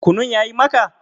Kunun ya yi maka?